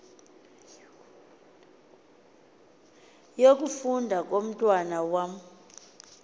yokufunda komntwana wam